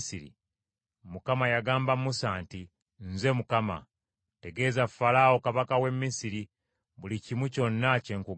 Mukama yagamba Musa nti, “Nze Mukama . Tegeeza Falaawo, kabaka w’e Misiri, buli kimu kyonna kye nkugamba.”